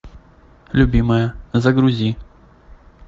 любимая загрузи